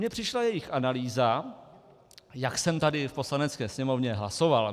Mně přišla jejich analýza, jak jsem tady v Poslanecké sněmovně hlasoval.